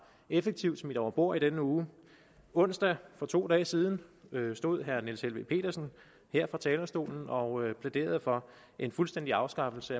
effektivt smidt over bord i denne uge onsdag for to dage siden stod herre niels helveg petersen her på talerstolen og plæderede for en fuldstændig afskaffelse